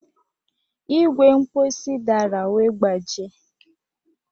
Igwe mposi dara wee gbajie